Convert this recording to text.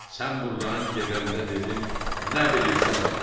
Sən burdan gedəndə dedin nə bilirsən elə.